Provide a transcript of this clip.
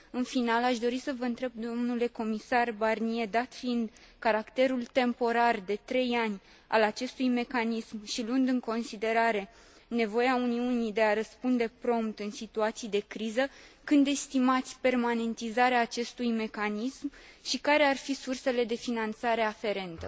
În final, aș dori să vă întreb, domnule comisar Barnier, dat fiind caracterul temporar, de trei ani, al acestui mecanism și luând în considerare nevoia Uniunii de a răspunde prompt în situații de criză, când estimați permanentizarea acestui mecanism și care ar fi sursele de finanțare aferente.